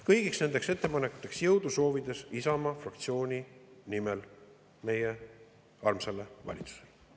Kõigiks nendeks ettepanekuteks jõudu soovides Isamaa fraktsiooni nimel meie armsale valitsusele.